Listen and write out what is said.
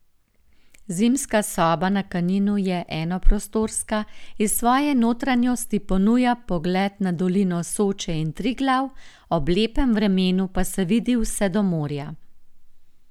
Zimska soba na Kaninu je enoprostorska, iz svoje notranjosti ponuja pogled na dolino Soče in Triglav, ob lepem vremenu pa se vidi vse do morja.